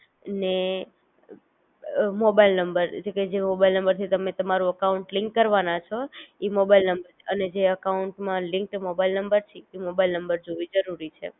ને અ mobile number ઍટલે કે જે મોબાઈલ નંબર થી તમે તમારું અકાઉંટ લિન્ક કરવાના છો ઈ મોબાઈલ નંબર અને જે અકાઉંટ માં લિંકડ મોબાઈલ નંબર છે એ મોબાઈલ નંબર જોવે જરૂરી છે